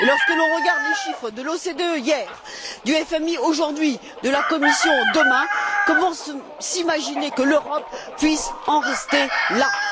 Et, lorsque l'on regarde les chiffres de l'OCDE hier, du FMI aujourd'hui, de la Commission demain, comment s'imaginer que l'Europe puisse en rester là?